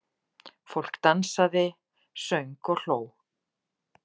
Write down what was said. Fólk dansaði, söng og hló.